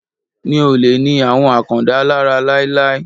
Mi ò lè ni àwọn Àkàndá lára láíláí.